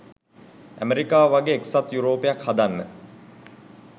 ඇමෙරිකාව වගේ එක්සත් යුරෝපයක් හදන්න.